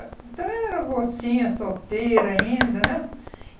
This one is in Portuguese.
Então, eu era mocinha, solteira ainda, né?